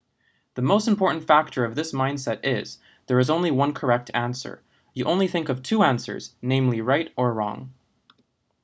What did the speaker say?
the most important factor of this mindset is there is only one correct answer you only think of two answers namely right or wrong